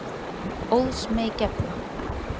Óðs mey gefna.